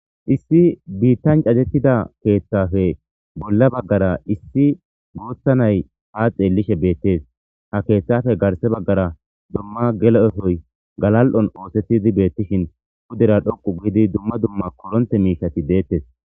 Issi bittani caddetidda kethappe bolla baggara Iissi gutha na'i ha xelishe betesi ha kethape garissa baggara gelo ekoyi galali'on osetid betishini pudera dhoqu giddi duma duma koronitte mishati detes.